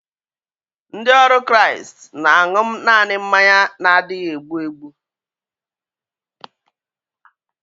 Ndị ọrụ Kraịst na-aṅu naanị mmanya na-adịghị egbu egbu